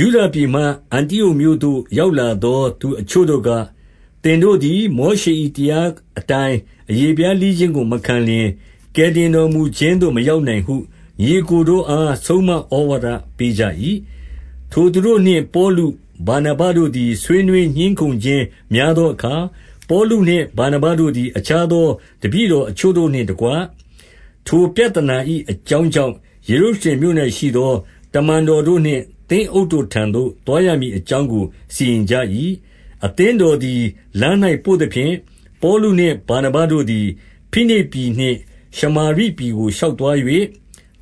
ယုဒပြည်မှ အန္တိအုတ်မြို့သို့ ရောက်လာသော သူအချို့တို့က၊ သင်တို့သည် မောရှေ၏တရားအတိုင်း အရေဖျားလှီးခြင်းကို မခံလျှင်၊ ကယ်တင်တော်မူခြင်းသို့ မရောက်နိုင်ဟု ညီအစ်ကိုတို့အား ဆုံးမဩဝါဒ ပေးကြ၏။ 2 ထိုသူတို့နှင့် ပေါလု၊ ဗာနဗတို့သည် ဆွေးနွေး ငြင်းခုံခြင်းများသောအခါ၊ ပေါလုနှင့်ဗာနဗတို့သည် အခြားသောတပည့်တော်အချို့ တို့နှင့်တကွ၊ ထိုပြဿနာ၏ အကြောင်းကြောင့်ယေရုရှလင်မြို့၌ရှိသော တမန်တော်တို့နှင့်သင်းအုပ်တို့ထံသို့သွားရမည်အကြောင်းကိုစီရင်ကြ၏။ 3 အသင်းတော်သည်လမ်း၌ပို့သဖြင့်၊ ပေါလုနှင့် ဗာနဗတို့သည် ဖိနိတ်ပြည်နှင့် ရှမာရိပြည်ကို ရှောက်သွား၍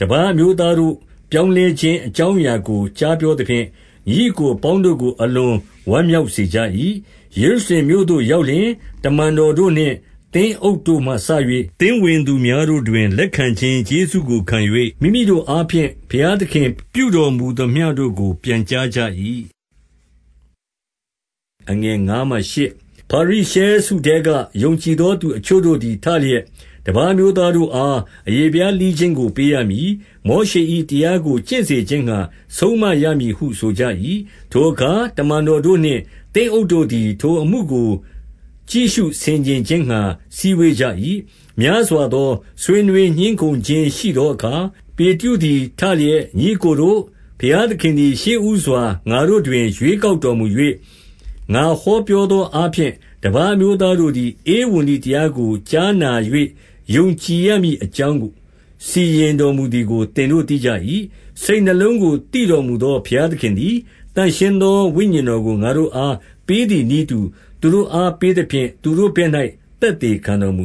တပါးအမျိုးသားတို့ ပြောင်းလဲခြင်းအကြောင်းအရာကို ကြားပြောသဖြင့်၊ ညီအစ်ကိုအပေါင်း တို့ကို အလွန်ဝမ်းမြောက်စေကြ၏။ 4 ယေရုရှလင်မြို့သို့ရောက်လျှင်၊ တမန်တော်တို့နှင့် သင်းအုပ်တို့မှစ၍ သင်းဝင်သူများတို့တွင် လက်ခံခြင်း ကျေးဇူးကိုခံ၍၊ မိမိတို့အားဖြင့် ဘုရားသခင်ပြုတော်မူ သမျှတို့ကို ပြန်ကြားကြ၏။ 5 ဖာရိရှဲစုထဲက ယုံကြည်သောသူအချို့တို့သည် ထလျက်၊ တပါးအမျိုးသားတို့အား အရေဖျားလှီးခြင်းကို ပေးရမည်။ မောရှေ၏ တရားကို ကျင့်စေခြင်းငှါ ဆုံးမရမည်ဟုဆိုကြ၏။ 6 ထိုအခါတမန်တော်တို့နှင့် သင်းအုပ်တို့သည် ထိုအမှုကိုကြည့် ရှုဆင်ခြင်ခြင်းငှါ စည်းဝေးကြ၏။ 7 များစွာသောဆွေးနွေးငြင်းခုံခြင်းရှိသောအခါ ပေတရုသည် ထလျက်၊ ညီအစ်ကိုတို့၊ ဘုရားသခင်သည် ရှေ့ဦးစွာငါတို့တွင် ရွေးကောက် တော်မူ၍၊ ငါဟောပြောသောအားဖြင့် တပါးအမျိုးသားတို့သည် ဧဝံဂေလိ တရားကိုကြားနာ၍ ယုံကြည်ရမည်အကြောင်း စီရင် တော်မူသည်ကို သင်တို့သိကြ၏။ 8 စိတ်နှလုံးကို သိတော်မူသော ဘုရားသခင်သည် သန့်ရှင်းသော ဝိညာဉ်တော်ကို ငါတို့အားပေးသည်နည်း တူသူတို့အားပေးသဖြင့်၊ သူတို့ဘက်၌ သက်သေခံတော်မူ၏။ 9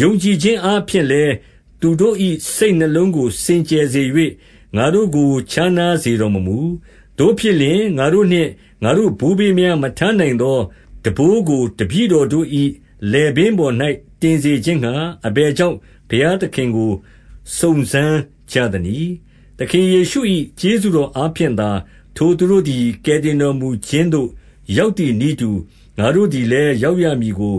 ယုံကြည်ခြင်းအားဖြင့်လည်း သူတို့၏ စိတ်နှလုံး ကိုစင်ကြယ် စေ၍ ငါတို့ကို ခြားနားစေတော်မမူ။ 10 သို့ဖြစ်လျှင်၊ ငါတို့နှင့်ငါတို့ဘိုးဘေးများ မထမ်းနိုင်သော ထမ်းပိုးကို တပည့်တော်တို့၏ လည်ပင်းပေါ်၌ တင်စေခြင်းငှါ အဘယ်ကြောင့် ဘုရားသခင်ကို စုံစမ်းကြသနည်း။ 11 သခင်ယေရှု၏ ကျေးဇူးတော်အားဖြင့်သာ ထိုသူတို့သည် ကယ်တင်တော်မူခြင်းသို့ ရောက်သည် နည်းတူ၊ ငါတို့သည်လည်း ရောက်ရမည်ကို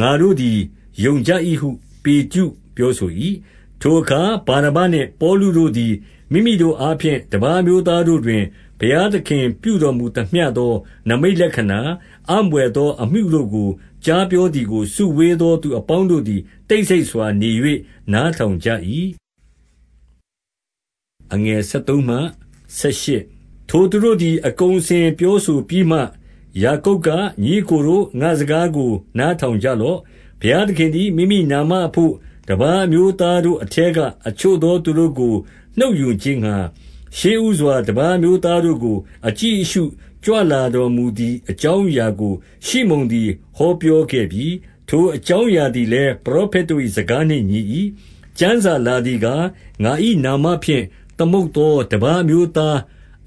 ငါတို့သည် ယုံကြ၏ဟု ပေတရု ပြောဆို၏။ 12 ထိုအခါဗာနဗနှင့် ပေါလုတို့သည် မိမိတို့အားဖြင့် တပါးအမျိုးသားတို့တွင် ဘုရားသခင်ပြုတော်မူ သမျှသော နိမိတ်လက္ခဏာ၊ အံ့ဘွယ်သောအမှုတို့ကို ကြားပြောသည်ကို စုဝေးသောသူအပေါင်းတို့သည် တိတ်ဆိတ်စွာ နေ၍နားထောင်ကြ၏။ 13 ထိုသူတို့သည် အကုန်အစင်ပြောဆိုပြီးမှ၊ ယာကုပ်က၊ ညီအစ်ကိုတို့၊ ငါ့စကားကို နားထောင်ကြ လော့။ 14 ဘုရားသခင်သည် မိမိနာမအဘို့၊ တပါးအမျိုးသားတို့ အထဲက အချို့သောသူတို့ကိုနှုတ်ယူခြင်းငှါ၊ ရှေ့ဦးစွာ တပါးအမျိုးသားတို့ကို အကြည့် အရှုကြွလာ တော်မူသည် အကြောင်းအရာကို ရှိမုန်သည် ဟောပြော ခဲ့ပြီ။ 15 ထိုအကြောင်းအရာသည်လည်း ပရောဖက် တို့၏ စကားနှင့် ညီ၏။ 16 ကျမ်းစာလာသည်ကား၊ ငါ၏နာမဖြင့် သမုတ်သော တပါးအမျိုးသား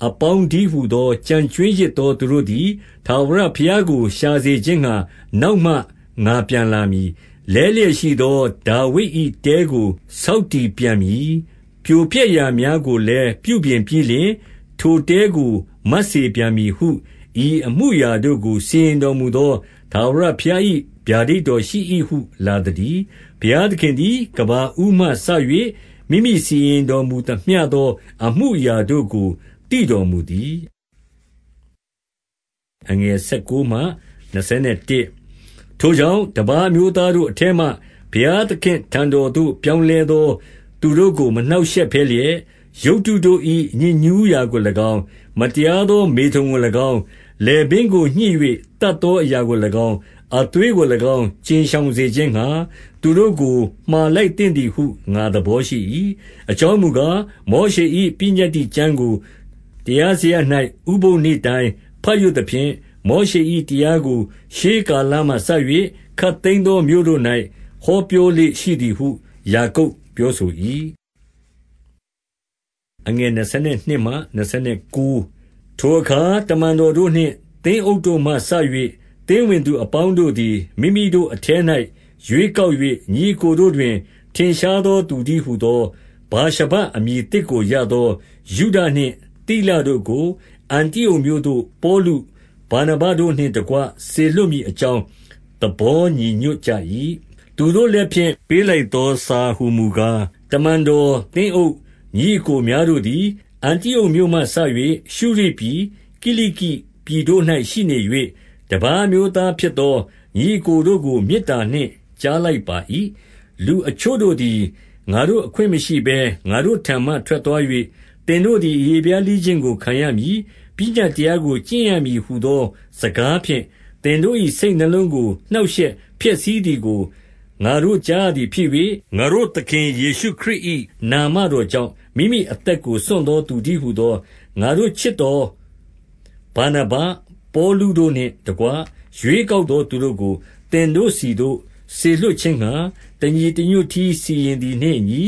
အပေါင်းတည်းဟူသော ကျန်ကြွင်းရစ်သော သူတို့သည် ထာဝရ ဘုရားကိုရှာစေခြင်းငှါ နောက်မှငါပြန်လာမည်။ 17 လဲလျက်ရှိသော ဒါဝိဒ်၏တဲကို ဆောက်တည်ပြန်မည်။ ပြိုပျက် ရာများကိုလည်း ပြုပြင်ပြီးလျှင်၊ ထိုတဲကို မတ်စေပြန်မည်ဟု။ 18 ဤအမှုအရာတို့ကို စီရင်တော်မူသော ထာဝရ ဘုရားသခင်၏ ဗျာဒိတ်တော်ရှိ၏ ဟုလာသတည်း။ ဘုရားသခင်သည် ကမ္ဘာဦးမှစ၍ မိမိစီရင်တော်မူ သမျှသော အမှုအရာတို့ကိုသိတော်မူသည်။ 19 ထိုကြောင့်၊ တပါးအမျိုးသားတို့အထဲမှ ဘုရားသခင့်ထံတော် သို့ပြောင်းလဲသော သူတို့ကို မနှောင့်ရှက် ဘဲလျက်၊ 20 ရုပ်တုတို့၏ ညစ်ညူးရာကို၎င်း၊ မတရားသော မေထုန်ကို၎င်း၊ လည်ပင်းကိုညှစ်၍ သတ်သောအရာကို ၎င်း၊ အသွေးကို၎င်း ကြဉ်ရှောင် စေခြင်းငှါ သူတို့ကို မှာလိုက်သင့်သည်ဟု ငါသဘောရှိ၏။ 21 အကြောင်းမူကား၊ မောရှေ၏ပညတ္တိကျမ်းကို တရားစရပ်၌ ဥပုသ်နေ့တိုင်းဘတ်ရွတ်သဖြင့်၊ မောရှေ၏ တရားကို ရှေးကာလမှစ၍ ခပ်သိမ်းသောမြို့တို့၌ ဟောပြောလေ့ရှိသည်ဟု ယာကုပ်ပြောဆို၏။ 22 ထိုအခါတမန်တော်တို့နှင့် သင်းအုပ်တို့မှစ၍ သင်းဝင်သူ အပေါင်းတို့သည်၊ မိမိတို့အထဲ၌ ရွေးကောက် ၍ ညီအစ်ကိုတို့တွင် ထင်ရှားသောသူတည်းဟူသော ဗာရှဗအမည်သစ်ကို ရသောယုဒနှင့် သိလတို့ကို၊ အန္တိအုတ်မြို့သို့ ပေါလု၊ ဗာနဗတို့နှင့်တကွ စေလွှတ်မည် အကြောင်းသဘောညီညွတ်ကြ၏။ 23 သူတို့လက်ဖြင့် ပေးလိုက်သော စာဟူမူကား၊ တမန်တော်၊ သင်းအုပ်၊ ညီအစ်ကိုများတို့သည်၊ အန္တိအုတ်မြို့မှစ၍ ရှုရိပြည်၊ ကိလိကိ ပြည်တို့၌ရှိနေ၍ တပါးအမျိုးသားဖြစ်သော ညီအစ်တို့ကို မေတ္တာနှင့်ကြား လိုက်ပါ၏။ 24 လူအချို့တို့သည် ငါတို့အခွင့်မရှိဘဲ ငါတို့ထံမှ ထွက်သွား၍၊ သင်တို့သည် အရေဖျားလှီးခြင်းကိုခံရမည်၊ ပညတ်တရားကိုကျင့်ရမည် ဟူသောစကားဖြင့်၊ သင်တို့၏ စိတ်နှလုံးကို နှောင့်ရှက်ဖျက်ဆီးသည်ကို ငါတို့ကြားရ သည်ဖြစ်၍၊ 25 ငါတို့သခင်ယေရှုခရစ်၏ နာမတော်ကြောင့် မိမိ အသက်ကို စွန့်စားသော သူတည်းဟူသော၊ 26 ငါတို့ချစ်သောဗာနဗ၊ ပေါလုတို့နှင့်တကွ ရွေးကောက်သော သူ တို့ကို သင်တို့ဆီသို့စေလွှတ်ခြင်းငှါ တညီတညွတ်တည်း စီရင်သည်နှင့် အညီ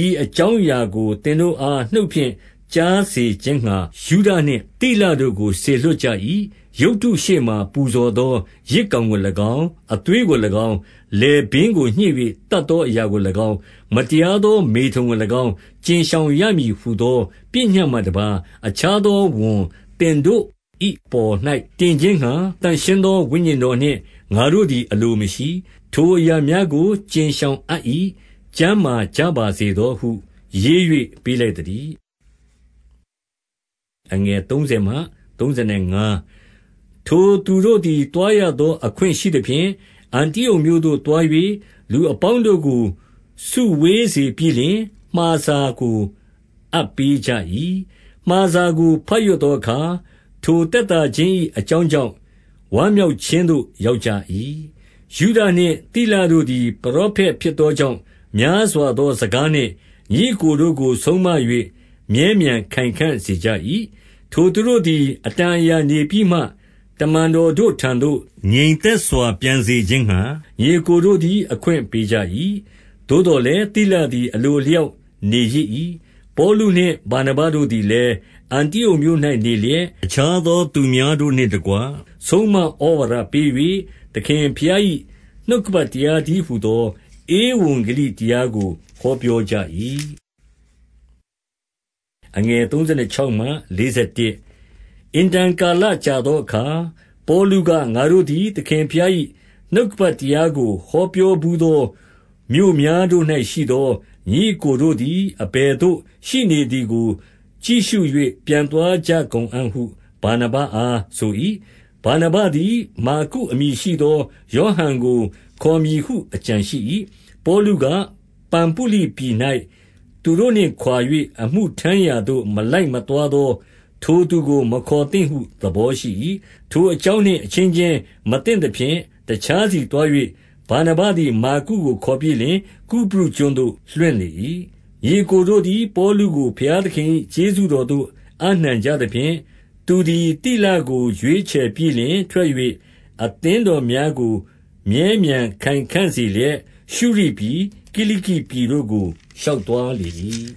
၊ 27 ဤအကြောင်းအရာကို သင်တို့အား နှုတ်ဖြင့် ကြားစေခြင်းငှါ ယုဒနှင့်သိလတို့ကို စေလွှတ်ကြ၏။ 28 ရုပ်တုရှေ့မှာ ပူဇော်သောယဇ်ကောင်ကို၎င်း၊ အသွေးကို၎င်း၊ 29 လည်ပင်းကိုညှစ်၍ သတ်သောအရာကို၎င်း၊ မတရားသော မေထုန်ကို၎င်း ကြဉ်ရှောင်ရမည်ဟူသော ပညတ်မှတပါးအခြားသော ဝန်သင်တို့၏ အပေါ်၌ တင်ခြင်းငှါ သန့်ရှင်းသော ဝိညာဉ်တော်နှင့် ငါတို့သည် အလိုမရှိ။ ထိုအရာများကို ကြဉ်ရှောင်အပ်၏။ ကျန်းမာကြ ပါစေသောဟုရေး၍ ပေးလိုက်သတည်း။ 30 ထိုသူတို့သည် သွားရသော အခွင့်ရှိသဖြင့်၊ အန္တိအုတ်မြို့သို့ သွား၍၊ လူအပေါင်းတို့ကို စုဝေးစေပြီး လျှင် မှာစာကိုအပ်ပေးကြ၏။ 31 မှာစာကိုဘတ်ရွတ်သောအခါ ထိုသက်သာခြင်း၏ အကြောင်းကြောင့် ဝမ်းမြောက်ခြင်းသို့ရောက်ကြ၏။ 32 ယုဒနှင့် သိလတို့သည် ပရောဖက် ဖြစ်သောကြောင့် များစွာသောစကားနှင့် ညီအစ်တို့ကို ဆုံးမ၍ မြဲမြံခိုင်ခံ့စေကြ၏။ 33 ထိုသူတို့သည် အတန်အရာနေပြီးမှ၊ တမန်တော်တို့ထံသို့ ငြိမ်သက်စွာပြန်စေခြင်းငှါ ညီအစ်ကိုတို့သည် အခွင့်ပေးကြ၏။ 34 သို့သော်လည်း၊ သိလသည် အလိုအလျောက် နေရစ်၏။ 35 ပေါလုနှင့်ဗာနဗတို့သည်လည်း အန္တိအုတ်မြို့၌ နေလျက်၊ အခြားသောသူများတို့နှင့်တကွ ဆုံးမ ဩဝါဒပေး၍၊ သခင်ဘုရား၏ နှုတ်ကပတ် တရားတည်း ဟူသော ဧဝံဂေလိတရားကိုဟောပြောကြ၏။ 36 အင်တန်ကာလကြာသောအခါ၊ ပေါလုက၊ ငါတို့သည် သခင်ဘုရား၏ နှုတ်ကပတ်တရားကို ဟောပြောဘူးသော မြို့များတို့၌ ရှိသော ညီအစ်ကိုတို့ သည် အဘယ်သို့ရှိနေသည်ကိုကြည့်ရှု၍ ပြန်သွား ကြကုန်အံ့ဟု ဗာနဗအားဆို၏။ 37 ဗာနဗသည် မာကုအမည်ရှိသော ယောဟန်ကို ခေါ်မည်ဟု အကြံရှိ၏။ 38 ပေါလုက၊ ပံဖုလိပြည်၌သူတို့နှင့်ခွါ၍ အမှုထမ်း ရာသို့မလိုက် မသွားသောထိုသူကိုမခေါ်သင့်ဟု သဘောရှိ၏။ 39 ထိုအကြောင်းနှင့် အချင်းချင်း မသင့်သဖြင့် တခြားစီသွား၍၊ ဗာနဗသည်မာကုကို ခေါ်ပြီးလျှင် ကုပရုကျွန်းသို့လွှင့်လေ၏။ 40 ညီအစ်ကိုတို့သည် ပေါလုကိုဘုရားသခင်၏ ကျေးဇူးတော်သို့ အပ်နှံကြသဖြင့်၊ သူသည်သိလကို ရွေးချယ်ပြီးလျှင်ထွက်၍၊ 41 အသင်းတော်များကို မြဲမြံခိုင်ခံ့စေလျက်၊ ရှုရိပြည်၊ ကိလိကိပြည် တို့ကို ရှောက်သွားလေ၏။